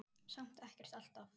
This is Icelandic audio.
Samt ekkert alltaf.